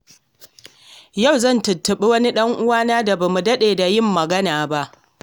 Yau zan tuntuɓi wani ɗan uwana da bamu daɗe da yin magana ba.